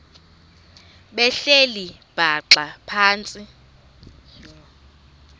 behleli bhaxa phantsi